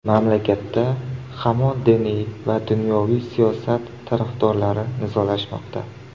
Mamlakatda hamon diniy va dunyoviy siyosat tarafdorlari nizolashmoqda.